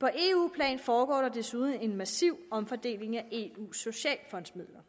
på eu plan foregår der desuden en massiv omfordeling af eus socialfondsmidler